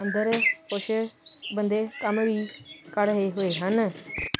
ਅੰਦਰ ਕੁਛ ਬੰਦੇ ਕੰਮ ਵੀ ਕਰ ਰਹੇ ਹੋਏ ਹਨ।